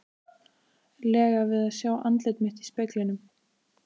lega við að sjá andlit mitt í speglinum.